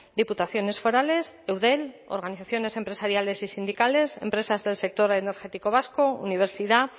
diputaciones forales eudel organizaciones empresariales y sindicales empresas del sector energético vasco universidad